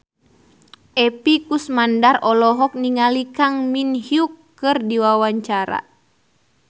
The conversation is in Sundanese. Epy Kusnandar olohok ningali Kang Min Hyuk keur diwawancara